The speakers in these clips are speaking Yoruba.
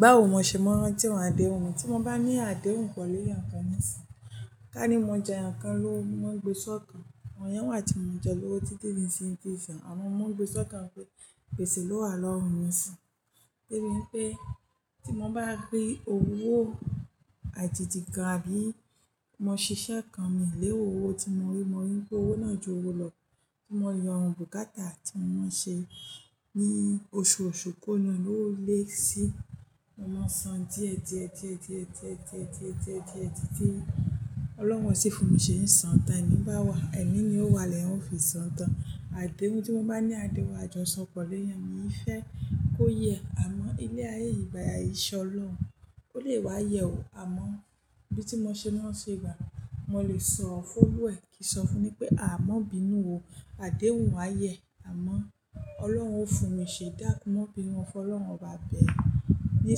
Báwo mo ṣe máa n rántí ọ̀rọ̀ àdéhùn mi. Tí mo bá ní àdéhùn pẹ̀lú èèyàn kan nísìyín, káni mo jeyàn kan lówó mo ma ń gbé ṣọ́kàn. Àwọn èèyàn wà tí mo jẹ lówó títí dí ìsìyín tí in sàn. Àmọ́ mo n gbé ṣọ́kàn pé gbèsè lo lówa lọ́rùn mi nísìyín. Bí ì pé tí mo bá rí òwò àjèjì kan àbí mo ṣiṣẹ́ kan mi ó lérò òwò tí mo rí, mo rí pé òwò náà ju owó lọ. Mo yọ bùkátà tí mo máa ń ṣe ní oṣooṣù kúrò nínú ẹ̀ ó lè sí, mo máa san díẹ̀ díẹ̀ díẹ̀ díẹ̀ díẹ̀ díẹ̀ díẹ̀ díẹ̀ díẹ̀ díẹ̀ títí. Ọlọ́run ó sì fún mi ṣé n san tán èmi bá wa, ẹ̀mí ni ó wà lẹ́yan ó fi sọ tan. Àdéhùn tí mo bá ní àdéhùn àjọṣọ pẹ̀lú èèyàn mi ì fẹ́ kó yẹ. Àmọ́ ilẹ̀ ayé yìí gbá iṣẹ́ ọlọ́run, ó lè wá yẹ o. Àmọ́ bí tí mo ṣe ma ń ṣe ìgbà, mo lè sọ fún òluwa ẹ, kí n sọ fún ni pé "Àh má bínú o, àdéhùn á yẹ." Àmọ́ Ọlọ́run ó fún mi ṣe dákun má bínú, mọ́ fọlọ́run óba bẹ̀ ẹ̀, ní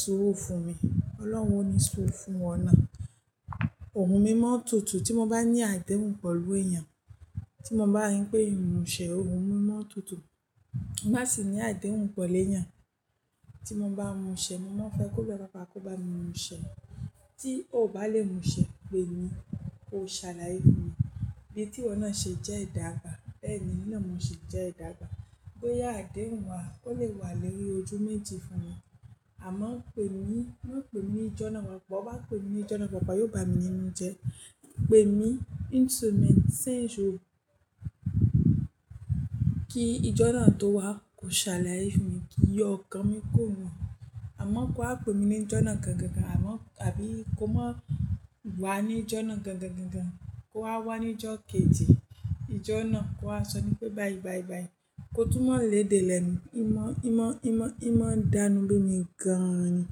suru fún mi. Ọlọ́run ó ni suru fúnwọ náà. Òhùn mi mọ n tùtù tí mo bá ní àdéhùn pẹ̀lú èèyàn. Tí mo bá rí pé èmi mo ṣẹ ẹ, òhùn mi mọ́ n tùtù. Mo bá ṣì ní àdéhùn pẹ̀lú èèyàn. Tí mo bá múṣẹ, mo máa n fẹ́ kó bẹ babá kó bá mi múṣẹ. Tí ò bá lè múṣẹ, pè mí, kò ò ṣàláyé fún mi. Bí tí ìwọ náà ṣe jẹ́ ìdágbà, bẹ́ẹ̀ ni èmi náà ṣe jẹ́ ìdágbà. Bóyà àdéhùn wà, ó lè wà lórí ojú méjì fún mi. Àmọ́ pè mí, má pè mí ní ìjọ́ náà wà. Bó bá pè mí ìjọ́nà pàápàá, yóò bá mi nínú jẹ. Pè mí ìnú ìṣẹ́ mẹ́ta kí ìjọ́nà tó wà, kò ṣe àlàyé fún mi, kí n yọ ọkàn mi kúrò níbẹ̀. Àmọ́ kó wá pè mí ní ìjọ́nà náà gan-gan. Àmọ́ àbí kó máa wá ní ìjọ́nà náà gan-gan-gan-gan. Kó á wá ní ìjọ́ kejì. Ìjọ́nà kó á sọ ní pé "bye bye bye." Kó tún mò lédè lẹ́nu. Ì mọ́, ì mọ́, ì mọ́, ì mọ́ dánú ló ni gan-an ni.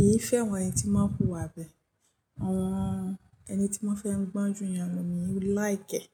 Èyí fẹ́ràn ẹni tí mọ́ wù ìwà bẹ́ẹ̀. Àwọn ẹni tí mọ́ fẹ́ mú gbán jù èèyàn lọ ni mo like ẹ.